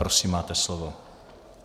Prosím, máte slovo.